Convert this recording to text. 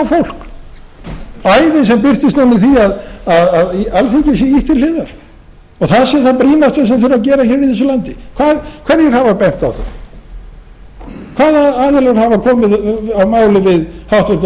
fólk æði sem birtist núna í því að alþingi sé ýtt til hliðar og það sé það brýnasta sem þurfi að gera hér í þessu landi hverjir hafa bent á það hvaða aðilar aðra komið að máli við háttvirtir